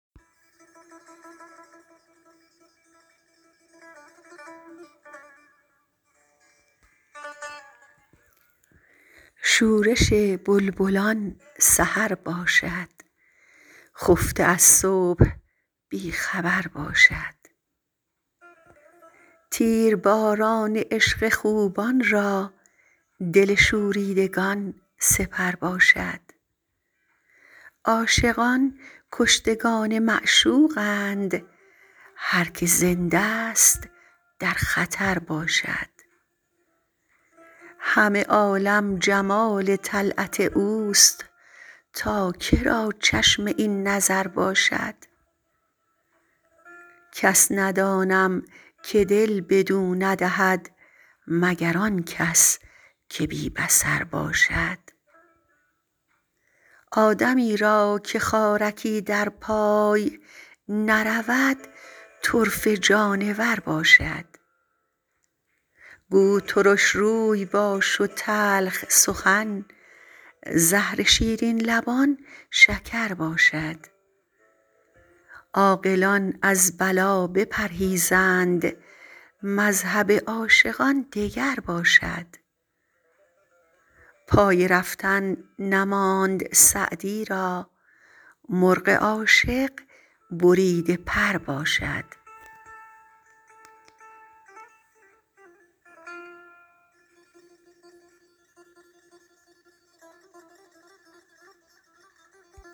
شورش بلبلان سحر باشد خفته از صبح بی خبر باشد تیرباران عشق خوبان را دل شوریدگان سپر باشد عاشقان کشتگان معشوقند هر که زنده ست در خطر باشد همه عالم جمال طلعت اوست تا که را چشم این نظر باشد کس ندانم که دل بدو ندهد مگر آن کس که بی بصر باشد آدمی را که خارکی در پای نرود طرفه جانور باشد گو ترش روی باش و تلخ سخن زهر شیرین لبان شکر باشد عاقلان از بلا بپرهیزند مذهب عاشقان دگر باشد پای رفتن نماند سعدی را مرغ عاشق بریده پر باشد